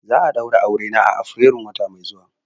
Za'a yi Aure na a afirairun shekara mai zuwa.